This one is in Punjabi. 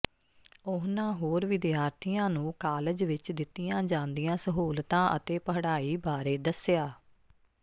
ਉਨ੍ਹਾਂ ਹੋਰ ਵਿਦਿਆਰਥੀਆਂ ਨੂੰ ਕਾਲਜ ਵਿੱਚ ਦਿੱਤੀਆਂ ਜਾਂਦੀਆਂ ਸਹੂਲਤਾਂ ਅਤੇ ਪੜ੍ਹਾਈ ਬਾਰੇ ਦੱਸਿਆ